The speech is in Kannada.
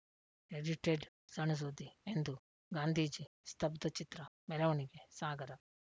ಎಡಿಟೆಡ್‌ ಸಣ್‌ಸುದ್ದಿ ಇಂದು ಗಾಂಧೀಜಿ ಸ್ತಬ್ಧಚಿತ್ರ ಮೆರವಣಿಗೆ ಸಾಗರ